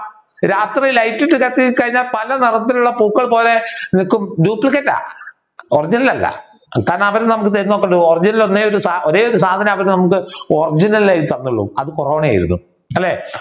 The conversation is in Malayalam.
രാത്രി light ഇട്ടു കത്തി കഴിഞ്ഞാൽ പല നിറത്തിലുള്ള പൂക്കൾ പോലെ നിക്കും duplicate ആണ് original അല്ല ഒരേയൊരു സാധനം മാത്രേ അവർ നമക്ക് original ആയി തന്നൊള്ളു. അത് കൊറോണ ആയിരുന്നു അല്ലെ